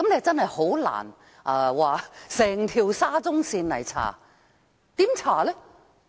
真的很難調查整條沙中線，怎樣查？